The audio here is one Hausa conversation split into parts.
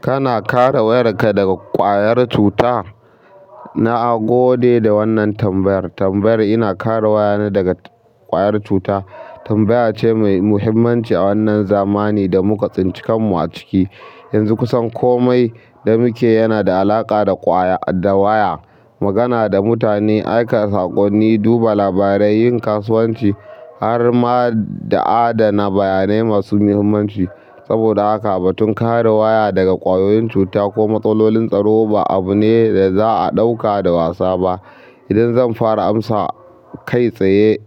Kana kare wayarka daga ƙwayar cuta? Na gode da wannan tambayar. Tambayar "ina kare wayana daga ƙwayar cuta?" tambaya ce mai muhimmanci a wannan zamani da muka tsinci kankamu a ciki. Yanzu kusan komai da muke yana da alaƙa da waya; magana da mutane, aika saƙonni, duba labarai, yin kasuwanci har ma da adana bayanai masu muhimmanci. Saboda haka, batun kare waya daga ƙwayoyin cuta ko matsalolin tsaro ba abu ne da za'a ɗauka da wasa ba. Idan zan fara amsa kai tsaye,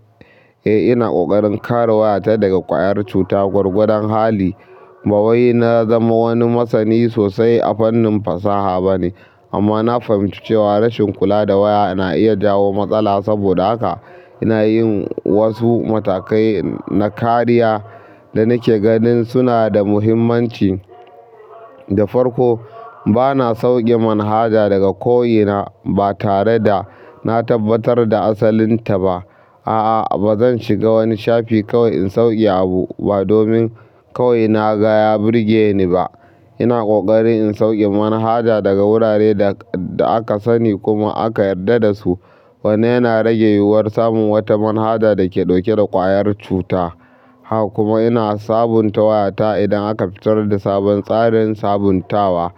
eh ina ƙoƙarin kare wayata daga ƙwayar cuta gwargwadon hali. Ba wai na zama wani masani sosai a fannin fasaha ba ne amma na fahimci cewa rashin kula da waya na iya jawo matsala. Saboda haka, ina yin wasu matakai na kariya da nake ganin suna da muhimmanci da farko. Ba na sauke manhaja daga ko'ina ba tare da na tabbatar da asalin ta ba. A'a bazan shiga wani shafi kawai na sauke abu, ba domin kawai naga ya birgeni ba ina ƙoƙari in sauke manhaja daga wuraren da aka sani kuma aka yarda da su. Wannan yana rage yiwuwar samun wata manhaja da ke ɗauke da ƙwayar cuta. Kuma ina sabunta wayata idan aka fitar da sabon tsarin sabuntawa.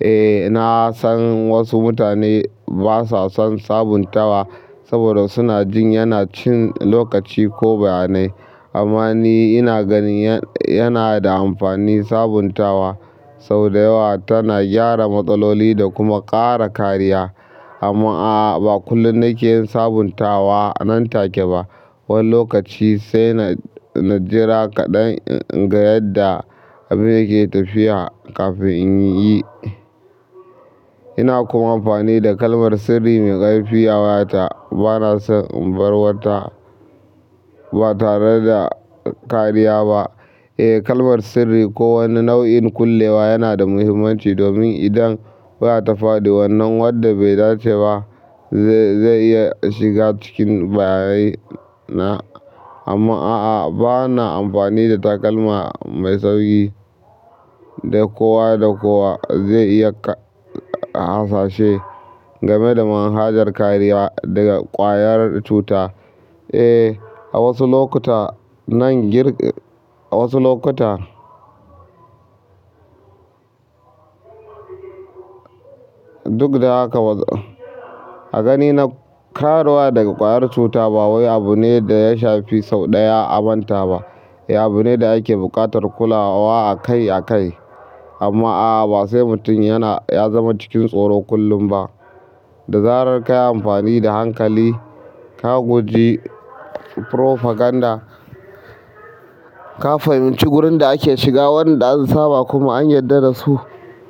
Eh, na san wasu mutane ba sa son sabuntawa saboda suna jin yana cin lokaci ko bayanai amma ni ina ganin yana da amfani. Sabuntawa sau da yawa tana gyara matsaloli da kuma ƙara kariya. Amma a'a, ba kullum nake yin sabuntawa nan take ba. Wani lokaci sai na jira kaɗan in ga yadda abin yake tafiya kafin in yi. Ina kuma amfani da kalmar sirri mai ƙarfi a wayata. Ba na son inbar wata ba tare da kariya ba. Eh, kalmar sirri ko wani nau'in kullewa yana da muhimmanci domin idan waya ta faɗi wannan wadda bai dace ba zai iya shiga cikin bayanan na. Amma a'a, ba na amfani da takalma mai sauƙi da kowa da kowa zai iya hasashe game da manhajar kariya daga ƙwayar cuta. Eh, a wasu lokuta. Nan gir-- a wasu lokuta. Duk da haka, a ganina kare waya daga ƙwayar cuta ba wai abu ne da ya shafi sau ɗaya a manta ba. Abu ne da ake buƙatar kula wa akai akai. Amma a'a, ba sai mutum yana-- ya zama cikin tsoro kullum ba. Da zarar ka yi amfani da hankali, ka guji propaganda, ka fahimci wurin da ake shiga, waɗanda an saba kuma an yarda da su,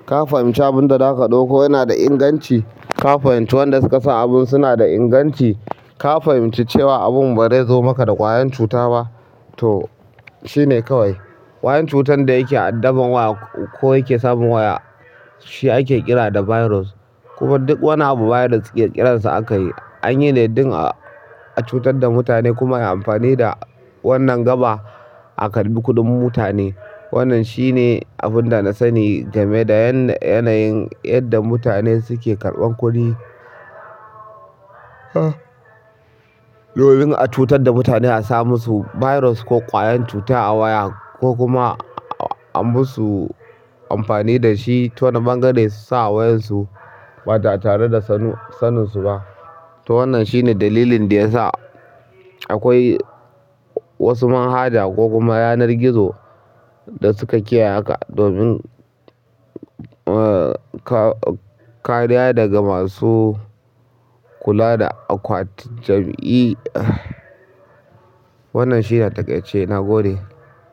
ka fahimci abun da zaka ɗauko yana da inganci, ka fahimci waɗanda suka san abun suna da inganci, ka fahimci cewa abun barezo maka da ƙwayen cuta ba to shine kawai. Ƙwayan cutar da yake addaban waya ko yake samun waya shi ake kira da "virus." Kuma duk wani abu virus ƙirƙirarsa aka yi. An yi ne don a cutar da mutane kuma yi amfani da wannan gaba a karɓi kuɗin mutane. Wannan shi ne abun da na sani game da yanayin yadda mutane suke karɓan kuɗi. Domin a cutar da mutane, a sa musu virus ko ƙwayan cuta a waya ko kuma a musu amfani da shi ta wani bangare su sa a wayansu ba tare da sanin su ba. To wanan shine dalilin da yasa, akwai wasu manhaja ko kuma yanar gizo da suka kiyeya haka domin kariya daga masu kula da akwatin jam'i. Wannan shi ne a taƙaice. Na gode.